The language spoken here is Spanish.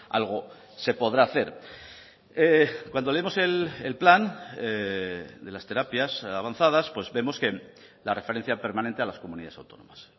algo se podrá hacer cuando leemos el plan de las terapias avanzadas pues vemos que la referencia permanente a las comunidades autónomas